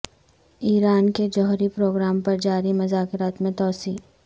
ایران کے جوہری پروگرام پر جاری مذاکرات میں توسیع